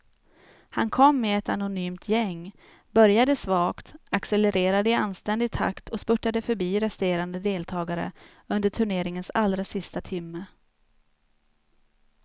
Han kom med ett anonymt gäng, började svagt, accelerade i anständig takt och spurtade förbi resterande deltagare under turneringens allra sista timme.